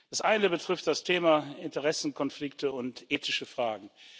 Der eine betrifft das Thema Interessenkonflikte und ethische Fragen.